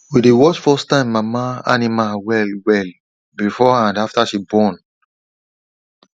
we dey watch firsttime mama animal well well before and after she born